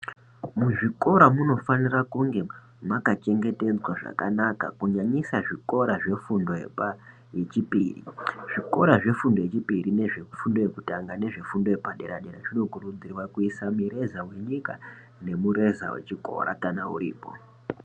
Muzvikora munofanira kunge makachengetedzwa zvakanaka kunyanyisa zvikora zvefundo yepa yechipiri, zvikora zvefundo yechipiri nezvefundo yekutanga nezvefundo yepadera dera zvinokurudzirwa kuisa mireza wenyika nemureza wechikora kana uripo.